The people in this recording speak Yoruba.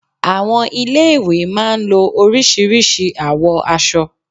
Àwọn ilé ìwé má a ń lo orísìírísìí àwọ̀ aṣọ